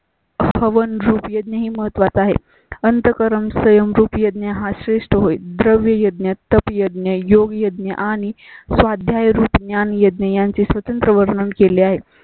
हवन रूप यज्ञ ही महत्त्वाचा आहे. अंतकरण संयम रुप यज्ञ हा श्रेष्ठ होय. द्रव्या यज्ञ तप यज्ञ योग यज्ञ आणि स्वाध्याय रूप ज्ञानयज्ञ यांची स्वतंत्र वर्णन केले आहे